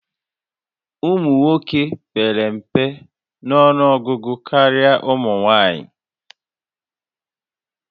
Ụmụ nwoke pere mpe nọnụọgụgụ karịa ụmụ nwanyị